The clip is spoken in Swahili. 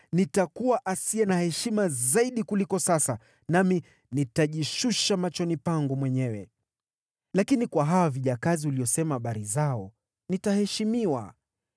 Nitakuwa asiye na heshima zaidi kuliko sasa, nami nitajishusha machoni pangu mwenyewe. Lakini kwa hawa vijakazi uliosema habari zao nitaheshimiwa.”